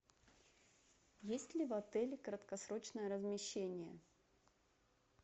есть ли в отеле краткосрочное размещение